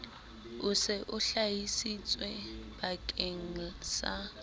o se o hlahisitswebakeng sa